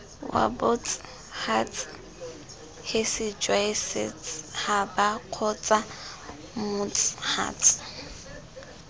wabots huts hisijwasets habakgotsamots huts